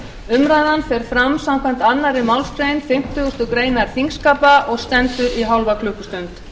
umræðan fer fram samkvæmt annarri málsgrein fimmtugustu grein þingskapa og stendur í hálfa klukkustund